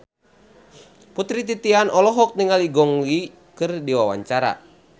Putri Titian olohok ningali Gong Li keur diwawancara